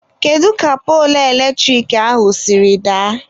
Kedu ka poolu eletrik ahụ siri daa?.